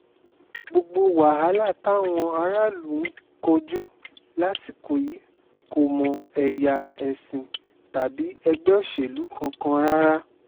gbogbo wàhálà táwọn aráàlú ń kojú lásìkò yìí kò mọ ẹ̀ya ẹ̀sìn tàbí ẹgbẹ́ òṣèlú kankan rárá